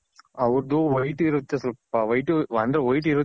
ಅವರ್ದು white ಇರುತ್ತೆ ಸ್ವಲ್ಪ white ಅಂದ್ರೆ white ಇರುತ್ತೆ